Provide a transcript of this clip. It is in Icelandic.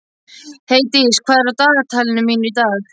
Heiðdís, hvað er í dagatalinu mínu í dag?